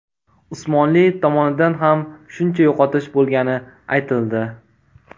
Usmonli tomonidan ham shuncha yo‘qotish bo‘lgani aytildi.